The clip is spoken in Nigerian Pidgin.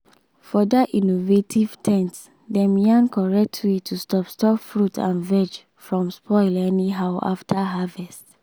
for that innovation ten t dem yarn correct way to stop stop fruit and veg from spoil anyhow after harvest